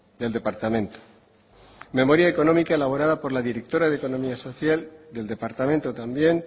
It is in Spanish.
del departamento memoria económica elaborada por la directora de economía social del departamento también